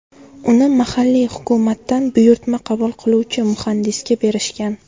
Uni mahalliy hukumatdan buyurtma qabul qiluvchi muhandisga berishgan.